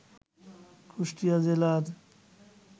কুষ্টিয়া জেলার